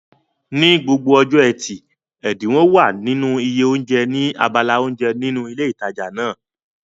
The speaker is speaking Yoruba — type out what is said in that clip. Ní gbogbo ọjọ́ ẹtì, ẹ̀dínwó wà nínú iye oúnjẹ ní abala oúnjẹ nínú ilé ìtajà náà